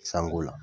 Sanko la